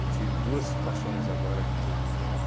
Eu tive duas situações agora que eu estou vivendo.